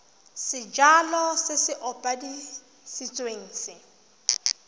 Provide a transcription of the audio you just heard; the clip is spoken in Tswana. sejalo se se opafaditsweng se